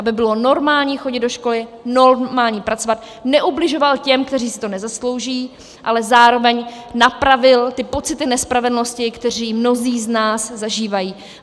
Aby bylo normální chodit do školy, normální pracovat, neubližoval těm, kteří si to nezaslouží, ale zároveň napravil ty pocity nespravedlnosti, které mnozí z nás zažívají.